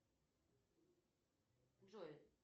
джой